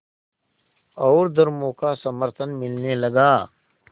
और धर्मों का समर्थन मिलने लगा